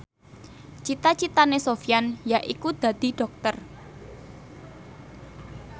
cita citane Sofyan yaiku dadi dokter